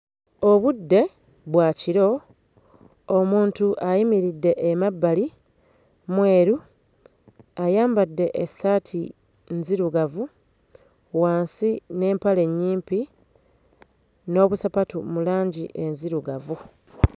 Obudde bwa kiro omuntu ayimiridde emabbali mweru ayambadde essaati nzirugavu wansi n'empale nnyimpi n'obusapatu mu langi enzirugavu.